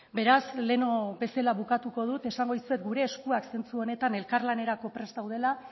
beraz lehen bezala bukatuko dut esango dizuet gure eskuak zentzu honetan elkarlanerako prest daudela